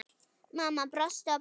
Mamma brosti og brosti.